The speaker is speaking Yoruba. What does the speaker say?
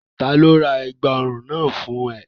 Ta ni ó ra ẹ̀gbà ọrùn náà fún ẹ?